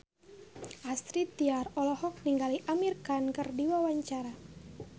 Astrid Tiar olohok ningali Amir Khan keur diwawancara